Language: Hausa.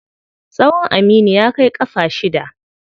Tsawon Aminu ya kai ƙafa shida.